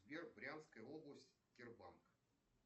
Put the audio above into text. сбер брянская область сбербанк